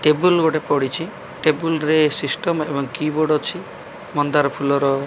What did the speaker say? table ଗୋଟେ ପଡ଼ିଚି table ରେ ସିଷ୍ଟମ୍ ଏବଂ କିବୋର୍ଡ଼ ଅଛି ମନ୍ଦାର ଫୁଲର --